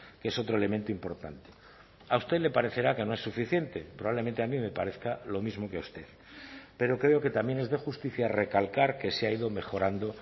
que es otro elemento importante a usted le parecerá que no es suficiente probablemente a mí me parezca lo mismo que a usted pero creo que también es de justicia recalcar que se ha ido mejorando